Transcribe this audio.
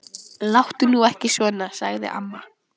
Láttu nú ekki svona. sagði amma.